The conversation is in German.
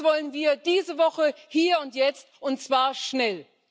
Das wollen wir diese Woche, hier und jetzt, und zwar schnell.